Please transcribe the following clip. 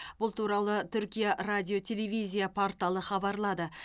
бұл туралы түркия радио телевизия порталы хабарлады